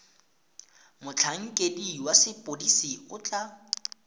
motlhankedi wa sepodisi o tla